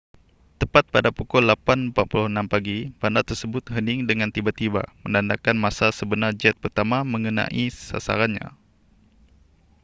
tepat pada pukul 8:46 pagi bandar tersebut hening dengan tiba-tiba menandakan masa sebenar jet pertama mengenai sasarannya